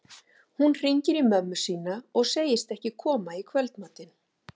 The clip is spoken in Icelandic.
Hún hringir í mömmu sína og segist ekki koma í kvöldmatinn.